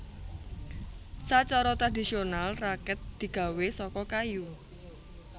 Sacara tradhisional rakèt digawé saka kayu